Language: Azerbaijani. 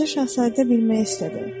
Balaca Şahzadə bilmək istədi.